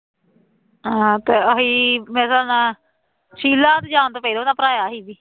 ਹਾਂ ਆਹੀ ਮੇਰਾ ਨਾਂ ਸ਼ੀਲਾ ਦੇ ਜਾਣ ਤੋਂ ਪਹਿਲਾਂ ਦਾ ਭਰਾਇਆਂ ਸੀ